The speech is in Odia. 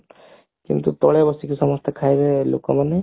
କିନ୍ତୁ ତଳେ ବସିକି ଖାଇବ ସମସ୍ତେ ଲୋକମାନେ